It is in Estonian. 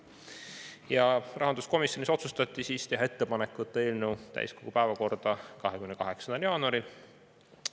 Ja rahanduskomisjonis otsustati teha ettepanek võtta eelnõu täiskogu päevakorda 28. jaanuaril.